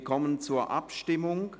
Wir kommen zur Abstimmung.